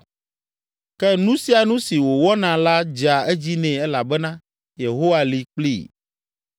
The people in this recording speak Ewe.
Ke nu sia nu si wòwɔna la dzea edzi nɛ elabena Yehowa li kplii.